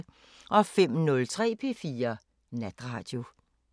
05:03: P4 Natradio